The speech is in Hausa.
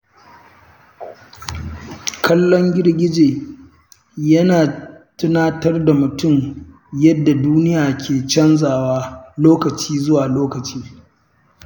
Kallon girgije yana tunatar da mutum yadda duniya ke canzawa lokaci zuwa lokaci.